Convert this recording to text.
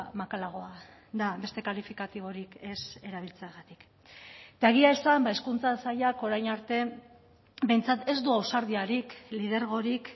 makalagoa da beste kalifikatiborik ez erabiltzeagatik eta egia esan hezkuntza sailak orain arte behintzat ez du ausardiarik lidergorik